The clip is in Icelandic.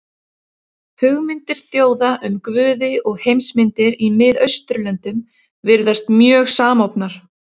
Hugmyndir þjóða um guði og heimsmyndir í Mið-Austurlöndum virðast mjög samofnar.